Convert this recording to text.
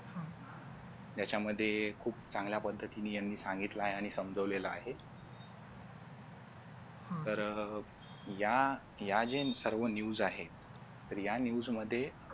यांच्यामध्ये खूप चांगल्या पद्धतीने यांनी सांगितलं आहे आणि समजवलेलं आहे तर या या जे सर्व news आहेत तर या news मध्ये